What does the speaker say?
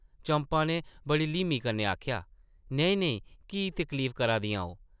चंपा नै बड़ी ल्हीमी कन्नै आखेआ, ‘‘नेईं-नेईं, की तकलीफ करदियां ओ ?’’